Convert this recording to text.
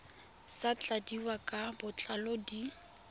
sa tladiwang ka botlalo di